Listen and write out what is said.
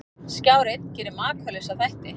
Skjár einn gerir Makalausa þætti